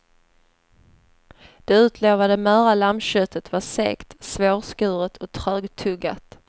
Det utlovade möra lammköttet var segt, svårskuret och trögtuggat.